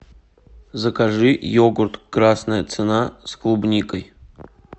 закажи йогурт красная цена с клубникой